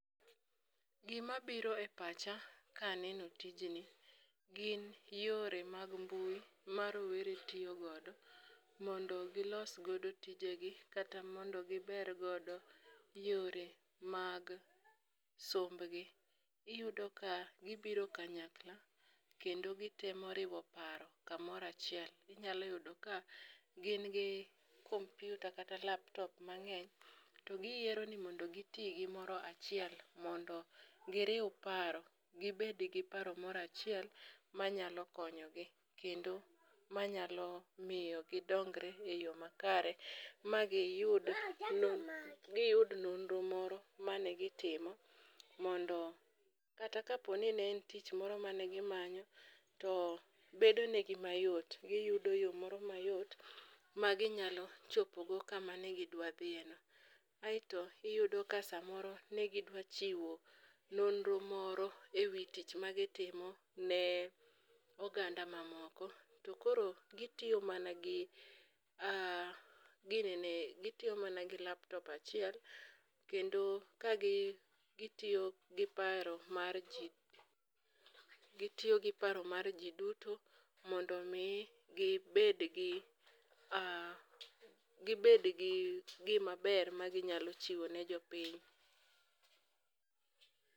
Gi ma biro e pacha ka aneno tijjni gi n yore mag mbui ma rowerni tiyo go mondo go los godo tije gi kata mondo gi ger godo yore mag somb gi. iyudo ka gi biro kanykla kendo gi temo riwo paro ka moro achiel. Inya yudo ka gin gi kompyuta kata laptop mangeny to gi yiero ni mondo gi ti gi achiel mondo gi riw paro gi bed gi paro mondo achiel ma nyalo konyo gi kendo ma nyalo miyo gi dongre e yo makare ma gi yud gi yud nonro moro ma ne gi timo mondo kata ka bed ni ne en tich mane gi manyo to bedo ne gi ma yot. Iyudo yo moro ma yot ma gi nyalo chopo go ka ma ne odwa dhiye no .Kaito iyudo ka saa moro ne gi dwa chiwo nonro moro e wi tich ma gi timo ne oganda ma moko, to koro gi tiyo ma gi gi nene ma na gi laptop achiel kendo ka gi tiyo gi paro mar ji gi tiyo gi paro mar ji duto mondo gi bed gi gi ma ber ma gi nyalo chiwo ne jopiny.